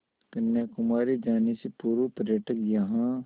कन्याकुमारी जाने से पूर्व पर्यटक यहाँ